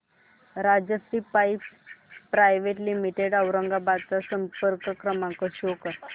Rajshri pipes private limited Aurangabad चा संपर्क क्रमांक शो कर